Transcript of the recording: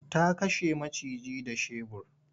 Ta kashe maciji da shebur.